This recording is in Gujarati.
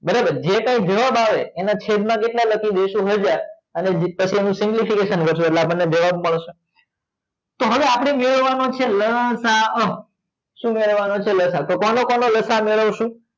બરાબર જે કાંઈ જવાબ આવે એના છેદમાં કેટલા લખી દઈશું હજાર પછી એનો simplification કરીશું એટલે આપણને જવાબ મળશે તો આપણે જોવાના છે જોવાનું છે લસાઅ શું કરવાનો છે કોનો કોનો લસા મેળવીશું